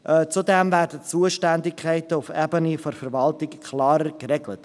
Zudem werden Zuständigkeiten auf Ebene Verwaltung klarer geregelt.